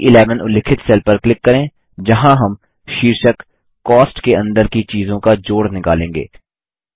C11 उल्लिखित cell पर click करें जहाँ हम शीर्षक कॉस्ट के अंदर की चीज़ों का जोड़ निकालेंगे